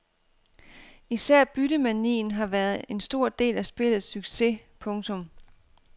Især byttemanien har været en stor del af spillets succes. punktum